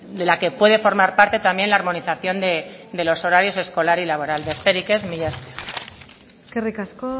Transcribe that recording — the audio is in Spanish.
de la que puede formar parte también la armonización de los horarios escolar y laboral besterik ez mila esker eskerrik asko